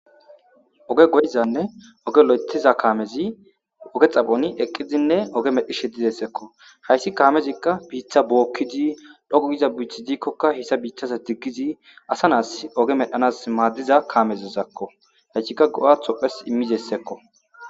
oge go'izanne oge lo'etiza kaamezi oge xaphoni eqqidinne oge medhi shedidessekko hayssi kaamezikka biitha bookkidi dhogo giza bichi diikkokka hissa biitaza diggizi asa naas oge medhanas maaddiza kaamezozakko hayskikka go'athopphes immizessekko.